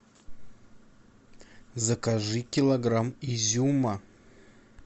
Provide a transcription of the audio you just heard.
закажи килограмм изюма